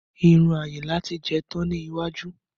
Irun Ayinla ti jẹ tán ní iwájú